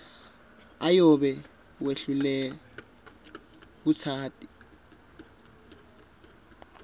uyobe wehlulwe kutati